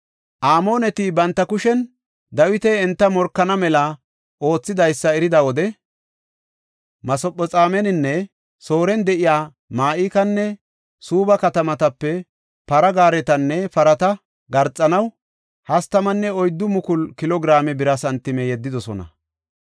Amooneti banta kushen Dawiti enta morkana mela oothidaysa erida wode Masephexoomeninne Sooren de7iya Ma7ikanne Suubba katamatape para gaaretanne parata garxanaw 34,000 kilo giraame bira santime yeddidosona.